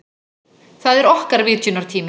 Það er okkar vitjunartími.